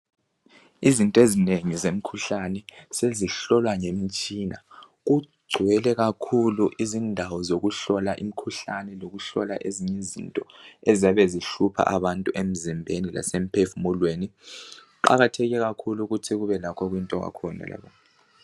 Izinto ezinengi zemkhuhlane sezihlolwa ngemitshina. Kugcwele kakhulu izindawo zokuhlola imikhuhlane lokuhlola ezinye izinto eziyabe zihlupha abantu emzimbeni lase mphefumulweni . Kuqakatheke kakhulu ukuthi kube lakho okuyinto kwakhona.